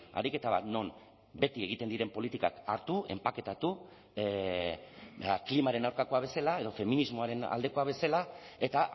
ariketa bat non beti egiten diren politikak hartu enpaketatu klimaren aurkakoa bezala edo feminismoaren aldekoa bezala eta